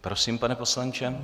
Prosím, pane poslanče.